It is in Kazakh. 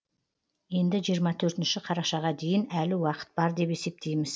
енді жиырма төртінші қарашаға дейін әлі уақыт бар деп есептейміз